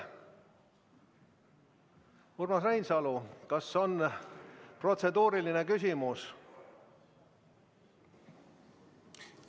Urmas Reinsalu, kas on protseduuriline küsimus?